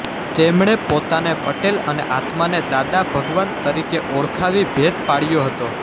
તેમણે પોતાને પટેલ અને આત્માને દાદા ભગવાન તરીકે ઓળખાવી ભેદ પાડ્યો હતો